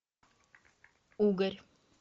угорь